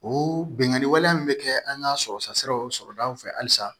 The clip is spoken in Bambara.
O bingani wale min bɛ kɛ an ka sɔrɔta siraw sɔrɔ an fɛ alisa